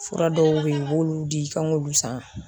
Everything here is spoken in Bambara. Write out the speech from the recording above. Fura dɔw be yen, u b'olu di, k'an k'olu san